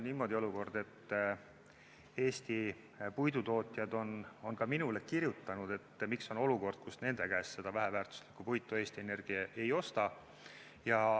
Eesti puidutootjad on ka minule kirjutanud, et miks on olukord, kus Eesti Energia nende käest väheväärtuslikku puitu ei osta.